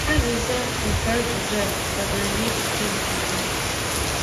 Azịza nke ajụjụ a dabere n'echiche nke gị.